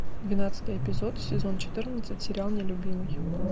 двенадцатый эпизод сезон четырнадцать сериал нелюбимый